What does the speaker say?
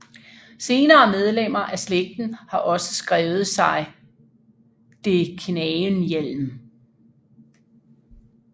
Senere medlemmer af slægten har også skrevet sig de Knagenhielm